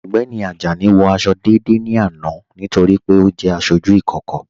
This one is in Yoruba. Ọgbẹ́ni Ajani wọ àṣọ̀ dédé ní àná nítorí pé ọ jẹ́ àṣọjú ìkókò.